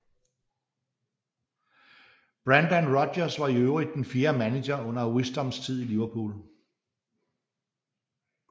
Brendan Rodgers var i øvrigt den fjerde manager under Wisdoms tid i Liverpool